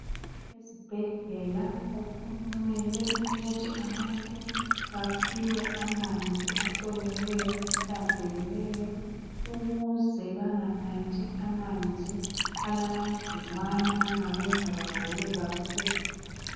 Ezibhedlela kumele ukuthi abantu baphiwe amanzi ahloliweyo, ahlanzekileyo, ukuze banganathi amanzi alamagcikwane angabenza bagule kakhulu.